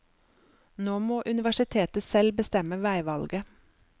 Nå må universitetet selv bestemme veivalget.